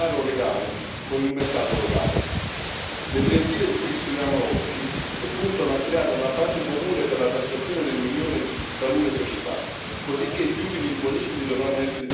Le direttive di cui disponiamo oggi puntano a creare una base comune per la tassazione nell'Unione di talune società, cosicché gli utili imponibili dovranno essere divisi tra gli Stati membri in cui opera l'impresa.